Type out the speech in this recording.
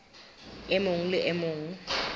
e mong le e mong